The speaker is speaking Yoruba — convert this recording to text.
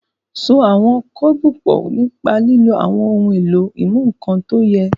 So àwọn kébù pọ̀ nípa lílo àwọn ohun èlò ìmúnǹkan tí ó yẹ.